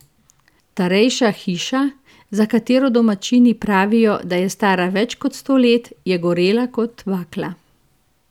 Starejša hiša, za katero domačini pravijo, da je stara več kot sto let, je gorela kot bakla.